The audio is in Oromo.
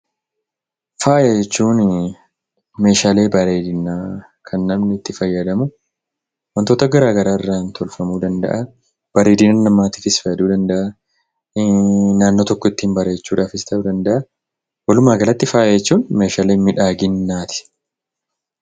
Faaya jechuunii meeshaalee bareedinaa kan namni itti fayyadamu wantoota garaa garaarraa tolfamuu danda'a, bareedina namaatiifiis fayyaduu danda'aa, naannoo tokko ittiin bareechuudhaafis ta'uu danda'aa. Walumaa galatti faaya jechuun meeshaalee miidhaginaati.